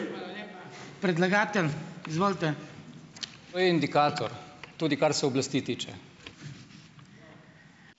To je indikator, tudi kar se oblasti tiče.